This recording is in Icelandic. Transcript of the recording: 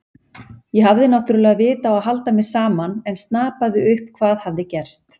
Ég hafði náttúrlega vit á að halda mér saman en snapaði upp hvað hafði gerst.